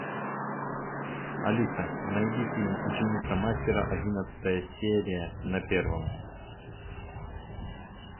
алиса найди фильм ученица мастера одиннадцатая серия на первом